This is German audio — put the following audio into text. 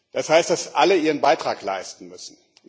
Das heißt, dass alle ihren Beitrag leisten müssen.